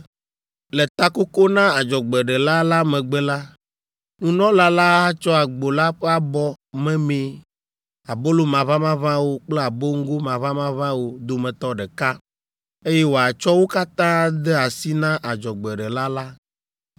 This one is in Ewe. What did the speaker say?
“ ‘Le takoko na adzɔgbeɖela la megbe la, nunɔla la atsɔ agbo la ƒe abɔ memee, abolo maʋamaʋãwo kple aboŋgo maʋamaʋãwo dometɔ ɖeka, eye wòatsɔ wo katã ade asi na adzɔgbeɖela la.